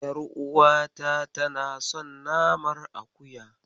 Ƴaruwata tana son naman akuya.